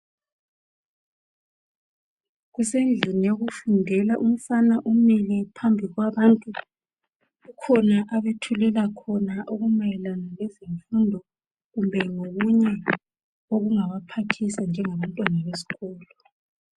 Kusendlini yokufundela umfana umile phambili kwabantu kukhona abethulela khona okumayelana lezemfundo kumbe ngokunye okungabaphathisa njengabantwana besikolo.